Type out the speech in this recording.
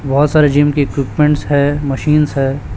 बहोत सारे जिम की इक्विपमेंट्स है मशीन्स है।